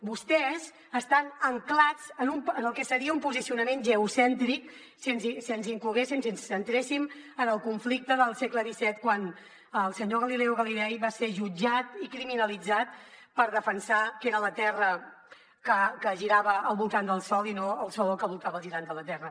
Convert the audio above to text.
vostès estan ancorats en el que seria un posicionament geocèntric si ens incloguéssim si ens centréssim en el conflicte del segle xviililei va ser jutjat i criminalitzat per haver defensat que era la terra que girava al voltant del sol i no el sol el que girava al voltant de la terra